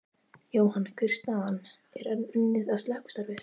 Jóhann, hver er staðan, er enn unnið að slökkvistarfi?